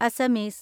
Assamese